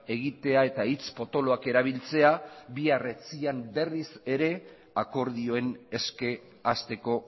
egitea eta hitz potoloak erabiltzea bihar etzi berriz ere akordioen eske hasteko